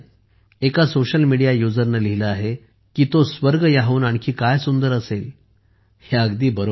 एका social media यूजरने सामाजिक माध्यम वापरकर्त्याने लिहिले आहे की तो स्वर्ग याहून आणखी काय सुंदर असेल हे अगदी बरोबर आहे